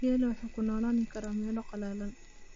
Geelu wuxuu ku noolaan karaa meelo qallalan.